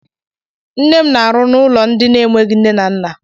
Nne m na-arụ n'ụlọ ndị na-enweghi nne na nna.